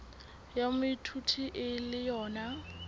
ya moithuti e le yona